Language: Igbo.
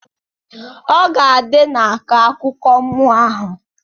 Ọgadị na-akọ akụkọ mmụọ ahụ.